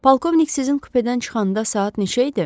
Polkovnik sizin kupedən çıxanda saat neçə idi?